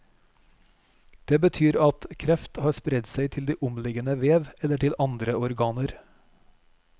Det betyr at kref har spredt seg til de omliggende vev, eller til andre organer.